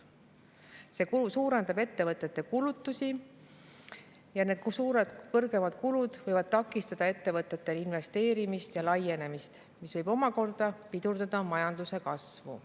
See suurendab ettevõtete kulutusi ja need suured, kõrgemad kulud võivad takistada ettevõtete investeerimist ja laienemist, mis võib omakorda pidurdada majanduse kasvu.